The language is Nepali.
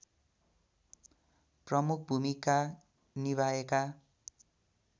प्रमुख भूमिका निभाएका